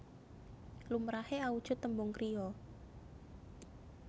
Lumrahe awujud tembung kriya